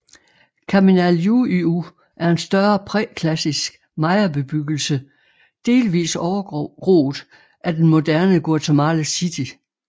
Kaminaljuyu er en større præklassisk mayabebyggelse delvis overgroet af den moderne Guatemala City